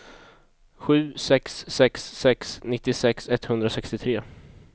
sju sex sex sex nittiosex etthundrasextiotre